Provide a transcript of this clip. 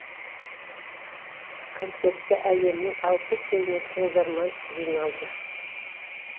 концертке әлемнің алпыс елінен тыңдарман жиналды